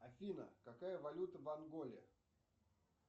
афина какая валюта в анголе